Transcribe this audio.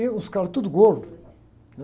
E os caras tudo gordos, né?